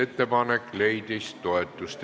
Ettepanek leidis toetust.